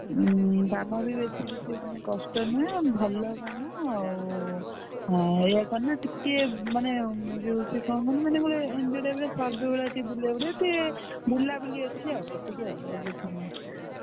ଉଁ କାମ ବି ବେଶୀ କିଛି ମାନେ କଷ୍ଟ ନୁହେ ଭଲ କାମ ଆଉ ଏଇଆ କଣ ନା? ଟିକିଏ ମାନେ ସେ କଣ କହିଲୁ? ଏମିତି type ର survey ଭଳିଆ କିଛି ବୁଲେଇଆକୁ ଦେବେ ଯେମିତି ବୁଲାବୁଲି ଅଛି ଆଉ ଏତିକି ଆଉ ଆଉ କିଛି ନାହିଁ।